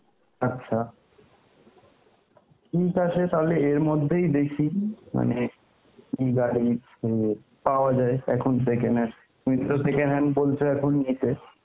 আচ্ছা, ঠিক আছে তাহলে এর মধ্যেই দেখি মানে কি গাড়ি , পাওয়া যায় এখন second hand, তুমি তো second hand বলছ এখন নিতে